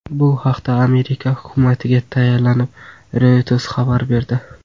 Bu haqda Amerika hukumatiga tayanib, Reuters xabar berdi .